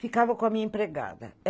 Ficava com a minha empregada.